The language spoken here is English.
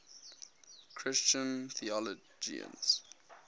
christian theologians